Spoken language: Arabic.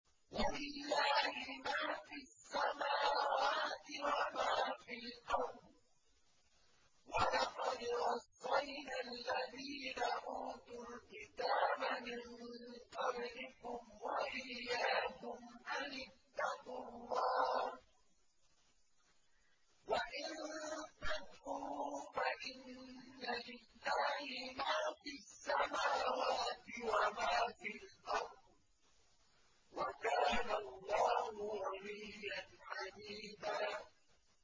وَلِلَّهِ مَا فِي السَّمَاوَاتِ وَمَا فِي الْأَرْضِ ۗ وَلَقَدْ وَصَّيْنَا الَّذِينَ أُوتُوا الْكِتَابَ مِن قَبْلِكُمْ وَإِيَّاكُمْ أَنِ اتَّقُوا اللَّهَ ۚ وَإِن تَكْفُرُوا فَإِنَّ لِلَّهِ مَا فِي السَّمَاوَاتِ وَمَا فِي الْأَرْضِ ۚ وَكَانَ اللَّهُ غَنِيًّا حَمِيدًا